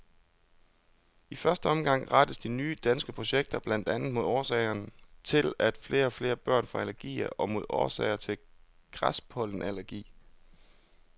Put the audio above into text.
I første omgang rettes de nye danske projekter blandt andet mod årsagerne til, at flere og flere børn får allergier og mod årsagerne til græspollenallergi.